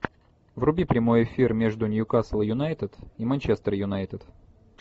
вруби прямой эфир между ньюкасл юнайтед и манчестер юнайтед